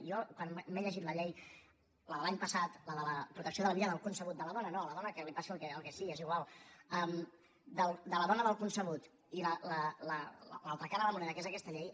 jo quan m’he llegit la llei la de l’any passat la de protecció de la vida del concebut de la dona no a la dona que li passi el que sigui és igual de la dona del concebut i l’altra cara de la moneda que és aquesta llei